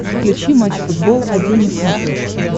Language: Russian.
включи матч футбол один на смотрешке